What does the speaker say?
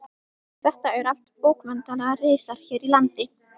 Þetta eru allt bókmenntalegir risar hér í landi.